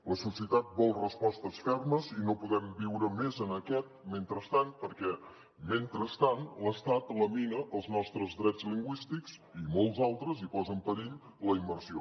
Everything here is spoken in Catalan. la societat vol respostes fermes i no podem viure més en aquest mentrestant perquè mentrestant l’estat lamina els nostres drets lingüístics i molts altres i posa en perill la immersió